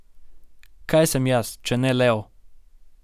Kaj sem jaz, če ne lev?